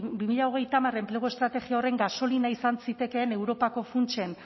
bi mila hogeita hamar enplegu estrategia horren gasolina izan zitekeen europako funtsen